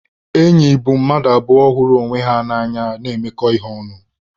Enyi bụ mmadụ abụọ hụrụ onwe ha na-emekọ ihe ọnụ.